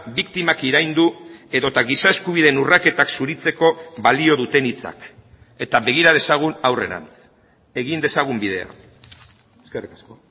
biktimak iraindu edota giza eskubideen urraketak zuritzeko balio duten hitzak eta begira dezagun aurrerantz egin dezagun bidea eskerrik asko